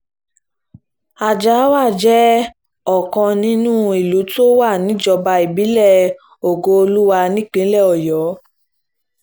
àjàáwá jẹ́ ọ̀kan nínú àwọn ìlú tó wà níjọba ìbílẹ̀ ògo-olúwa nípínlẹ̀ ọ̀yọ́